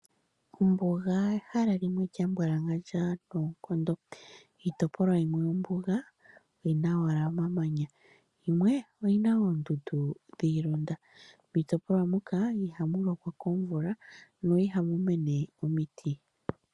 Ombuga ehala li li lya mbwalangandja noonkondo. Iitopolwa yimwe yombuga oyi na owala omamanya, yimwe oyi na oondundu dhi ilonda. Miitopolwa moka ihamu lokwa komvula, na ihamu mene omiti.